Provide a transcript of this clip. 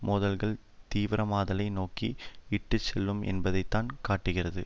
மோதல்கள் தீவிரமாதலை நோக்கி இட்டு செல்லும் என்பதைத்தான் காட்டுகிறது